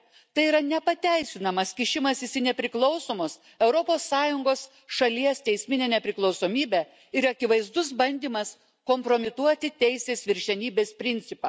Tai yra nepateisinamas kišimasis į nepriklausomos Europos Sąjungos šalies teisminę nepriklausomybę ir akivaizdus bandymas kompromituoti teisės viršenybės principą.